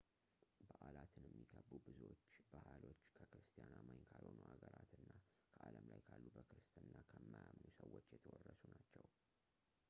በዓላትን የሚከቡ ብዙዎቹ ባህሎች ከክርስቲያን አማኝ ካልሆኑ አገራት እና ከዓለም ላይ ካሉ በክርስትና ከማያምኑ ሰዎች የተወረሱ ናቸው